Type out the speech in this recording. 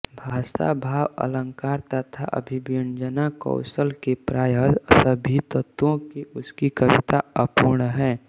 भाषा भाव अलंकार तथा अभिव्यंजनाकौशल के प्राय सभी तत्वों से उसकी कविता अपूर्ण है